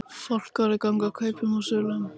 Fálkaorður ganga kaupum og sölum